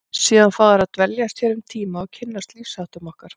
Síðan fá þeir að dveljast hér um tíma og kynnast lífsháttum okkar.